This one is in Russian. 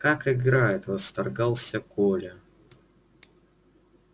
как играет восторгался коля